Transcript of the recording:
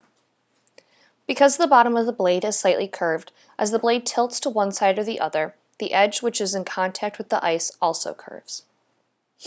because the bottom of the blade is slightly curved as the blade tilts to one side or the other the edge which is in contact with the ice also curves